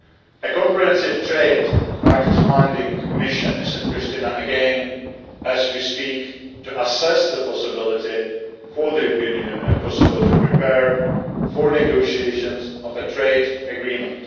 A comprehensive trade fact finding mission is in Priština again, as we speak, to assess the possibility for the European Union and Kosovo to prepare for negotiations on a trade agreement.